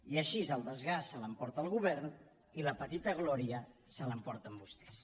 i així el desgast se l’emporta el govern i la petita glòria se l’emporten vostès